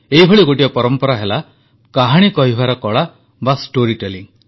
ଏହିଭଳି ଗୋଟିଏ ପରମ୍ପରା ହେଲା କାହାଣୀ କହିବାର କଳା ବା ଷ୍ଟୋରୀ ଟେଲିଂ